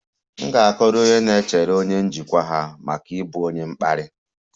M ga-akọrọ onye na-echere onye njikwa ha maka ịbụ onye mkparị